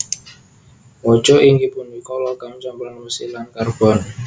Waja inggih punika logam campuran wesi lan karbon